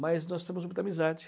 Mas nós temos muita amizade.